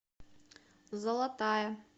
золотая